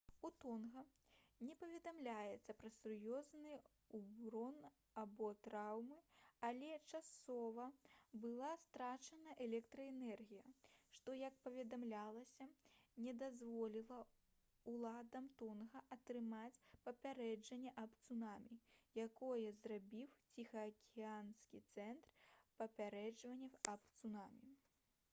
у тонга не паведамляецца пра сур'ёзны ўрон або траўмы але часова была страчана электраэнергія што як паведамлялася не дазволіла ўладам тонга атрымаць папярэджанне аб цунамі якое зрабіў ціхаакіянскі цэнтр папярэджанняў аб цунамі